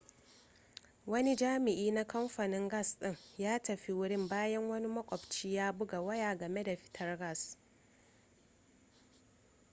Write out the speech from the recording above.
wani jami'i na kamfanin gas din ya tafi wurin bayan wani makwabci ya buga waya game da fitar gas